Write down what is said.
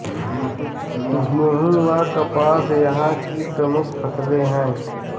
गेहूँ व कपास यहाँ की प्रमुख फ़सलें हैं